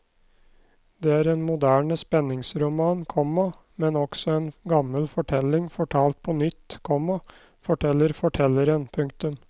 Det er en moderne spenningsroman, komma men også en gammel fortelling fortalt på nytt, komma forteller fortelleren. punktum